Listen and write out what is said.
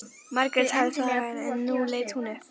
Margrét hafði þagað en nú leit hún upp.